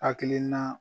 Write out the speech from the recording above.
Hakilina